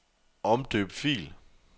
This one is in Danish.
Omdøb fil.